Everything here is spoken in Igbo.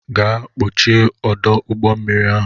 Gaa kpọchie ọdụ ụgbọmmiri ahụ!